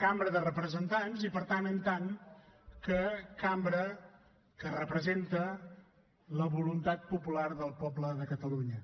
cambra de representants i per tant com a cambra que representa la voluntat popular del poble de catalunya